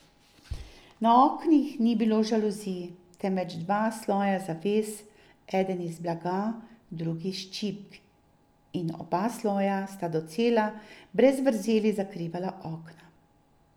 Na oknih ni bilo žaluzij, temveč dva sloja zaves, eden iz blaga, drugi iz čipk, in oba sloja sta docela, brez vrzeli zakrivala okna.